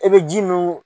E be ji munu